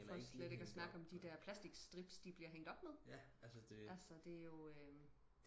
for slet ikke og snakke om de der plastik strips de bliver hængt op med altså det er jo øhm